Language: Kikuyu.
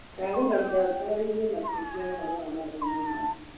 ndagũthaitha ũtaarĩrie makĩria ũhoro wa Mathomo maya?